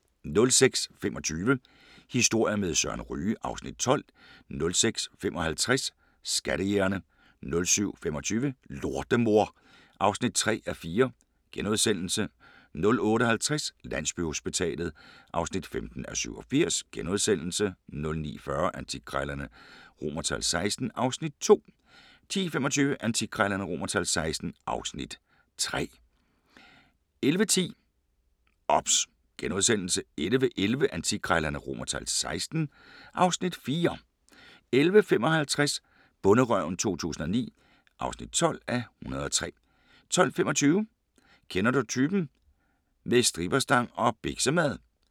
06:25: Historier med Søren Ryge (Afs. 12) 06:55: Skattejægerne 07:25: Lortemor (3:4)* 08:50: Landsbyhospitalet (15:87)* 09:40: Antikkrejlerne XVI (Afs. 2) 10:25: Antikkrejlerne XVI (Afs. 3) 11:10: OBS * 11:11: Antikkrejlerne XVI (Afs. 4) 11:55: Bonderøven 2009 (12:103) 12:25: Kender du typen? – med stripperstang og biksemad